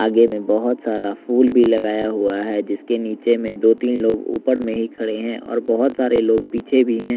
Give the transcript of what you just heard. आगे में बहोत सारा फूल भी लगाया हुआ है जिसके नीचे में दो तीन लोग ऊपर में ही खड़े हैं और बहोत सारे लोग पीछे भी हैं।